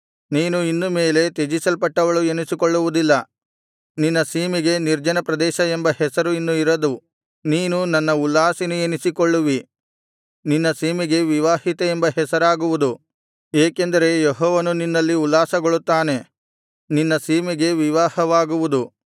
ನೀನು ಇನ್ನು ಮೇಲೆ ತ್ಯಜಿಸಲ್ಪಟ್ಟವಳು ಎನಿಸಿಕೊಳ್ಳುವುದಿಲ್ಲ ನಿನ್ನ ಸೀಮೆಗೆ ನಿರ್ಜನ ಪ್ರದೇಶ ಎಂಬ ಹೆಸರು ಇನ್ನು ಇರದು ನೀನು ನನ್ನ ಉಲ್ಲಾಸಿನಿ ಎನಿಸಿಕೊಳ್ಳುವಿ ನಿನ್ನ ಸೀಮೆಗೆ ವಿವಾಹಿತೆ ಎಂಬ ಹೆಸರಾಗುವುದು ಏಕೆಂದರೆ ಯೆಹೋವನು ನಿನ್ನಲ್ಲಿ ಉಲ್ಲಾಸಗೊಳ್ಳುತ್ತಾನೆ ನಿನ್ನ ಸೀಮೆಗೆ ವಿವಾಹವಾಗುವುದು